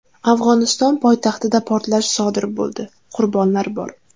Afg‘oniston poytaxtida portlash sodir bo‘ldi, qurbonlar bor.